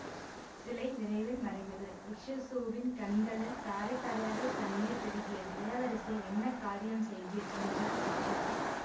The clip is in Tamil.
சிலை விரைவில் மறைந்தது பிக்ஷசூவின் கண்களில் தாரை தாரையாக கண்ணீர் பெருகியதுஇளவரசே என்ன காரியம் செய்தீர் என்றார் பிக்ஷு